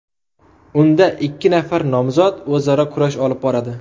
Unda ikki nafar nomzod o‘zaro kurash olib boradi.